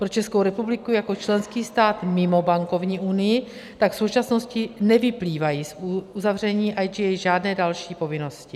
Pro Českou republiku jako členský stát mimo bankovní unii tak v současnosti nevyplývají z uzavření IGA žádné další povinnosti.